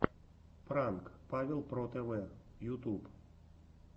пранк павел про тв ютуб